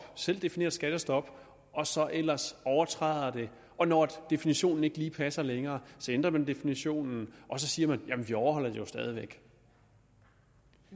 selvdefineret skattestop og så ellers overtræder det og når definitionen ikke lige passer længere ændrer man definitionen og så siger man jamen vi overholder det jo stadig væk